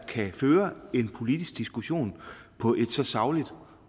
kan føre en politisk diskussion på et så sagligt